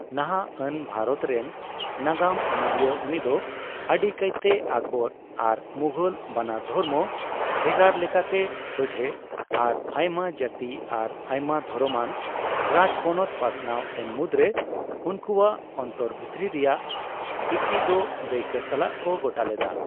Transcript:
ᱱᱟᱦᱟᱜ ᱟᱱ ᱵᱷᱟᱨᱚᱛ ᱨᱮᱱ ᱱᱟᱜᱟᱢ ᱚᱱᱚᱞᱤᱭᱟᱹ ᱩᱱᱤ ᱫᱚ ᱟᱹᱰᱤ ᱠᱟᱭ ᱛᱮ ᱟᱠᱵᱚᱨ ᱟᱨ ᱢᱩᱜᱷᱚᱞ ᱵᱟᱱᱟᱨ ᱫᱷᱚᱨᱢᱚ ᱵᱷᱮᱜᱟᱨ ᱞᱮᱠᱟᱛᱮ ᱥᱚᱡᱷᱚ ᱟᱨ ᱟᱭᱢᱟᱼᱡᱟᱛᱤ ᱟᱨ ᱟᱭᱢᱟ ᱫᱷᱚᱨᱚᱢ ᱟᱱ ᱨᱟᱡᱯᱚᱱᱚᱛ ᱯᱟᱥᱱᱟᱣ ᱮᱱ ᱢᱩᱫᱨᱮ ᱩᱱᱠᱩᱣᱟᱜ ᱚᱱᱛᱚᱨ ᱵᱷᱤᱛᱨᱤ ᱨᱮᱱᱟᱜ ᱸᱤᱛᱤ ᱫᱚ ᱫᱟᱹᱭᱠᱟᱹ ᱥᱟᱞᱟᱜ ᱠᱚ ᱜᱚᱴᱟ ᱞᱮᱫᱟ ᱾